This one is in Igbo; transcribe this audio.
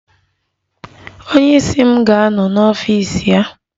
Onye isi m ga-anọ n'ọfịs ya.